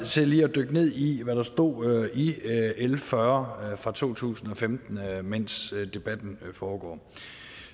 til lige at dykke ned i hvad der stod i l fyrre fra to tusind og femten mens debatten foregår